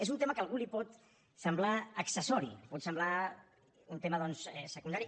és un tema que a algú li pot semblar accessori li pot semblar un tema secundari